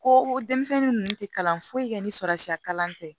Ko denmisɛnnin ninnu tɛ kalan foyi kɛ ni sara siya kalan tɛ